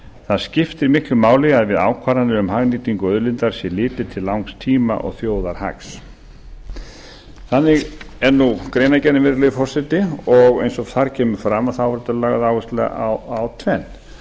það skiptir miklu máli að við ákvarðanir um hagnýtingu auðlindar sé litið til langs tíma og þjóðarhags þannig er greinargerðin virðulegi forseti og eins og þar kemur fram er lögð áhersla á tvennt